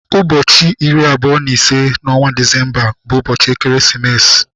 Ụbọchị iri abụọ na ise n'ọnwa Disemba bu ubochi ekeresimesi.